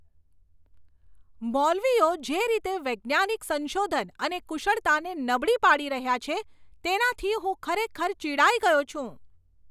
મૌલવીઓ જે રીતે વૈજ્ઞાનિક સંશોધન અને કુશળતાને નબળી પાડી રહ્યા છે, તેનાથી હું ખરેખર ચિડાઈ ગયો છું.